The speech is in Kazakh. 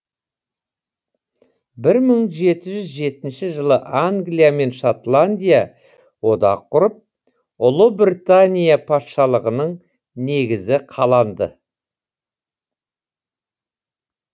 бір мың жеті жүз жетінші жылы англия мен шотландия одақ құрып ұлыбритания патшалығының негізі қаланды